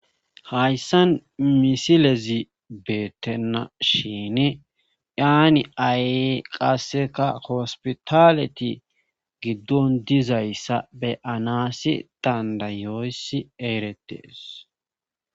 Hayssan misilezi beettenna shin daani ay qasseka hospitaleti giddon dizayssa be7anaasi dandayoyssi eeretees